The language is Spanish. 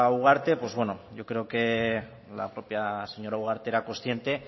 ugarte pues bueno yo creo que la propia señora ugarte era consciente